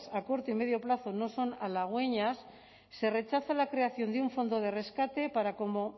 a corto y medio plazo no son halagüeñas se rechaza la creación de un fondo de rescate para como